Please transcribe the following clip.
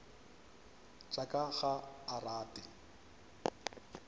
tša ka ga a rate